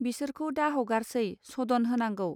बिसोरखौ दाहगारसै सदन होनांगौ